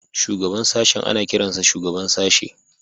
Shugaban sashen ana kiransa Shugaban Sashe